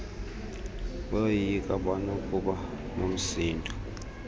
bayoyika banokuba nomsindo